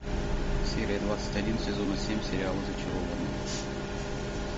серия двадцать один сезона семь сериала зачарованные